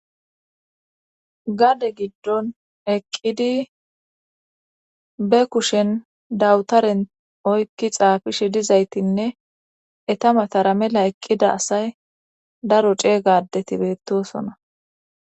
Gade giddon eqqidi be kushen dawutaren oykki xaafishe dizaytinne etamatara mela eqqida asay daro ceeygadeti beettosona.